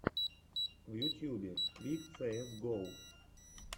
в ютьюбе твик цээс го